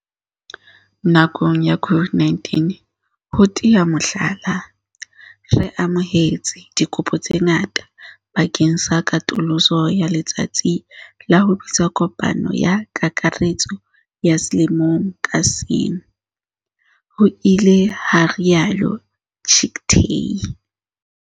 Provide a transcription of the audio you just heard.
"Nakong ya COVID-19, ho tea mohlala, re amohetse dikopo tse ngata bakeng sa katoloso ya letsatsi la ho bitsa kopano ya kakaretso ya selemo ka seng," ho ile ha rialo Chicktay.